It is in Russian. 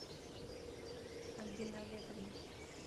альбины олеговны